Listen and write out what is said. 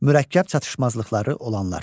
Mürəkkəb çatışmazlıqları olanlar.